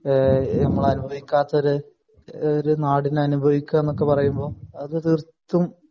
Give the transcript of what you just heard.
നമ്മൾ അനുഭവിക്കാത്ത ഒരു നാടിനെ അനുഭവിക്കുക എന്ന് പറയുന്നത് അത് തീർത്തും